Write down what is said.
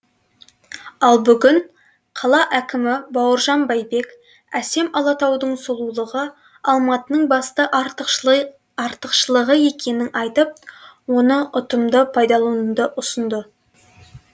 ал бүгін қала әкімі бауыржан байбек әсем алатаудың сұлулығы алматының басты артықшылығы екенін айтып оны ұтымды пайдалануды ұсынды